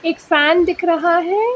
एक फैन दिख रहा है।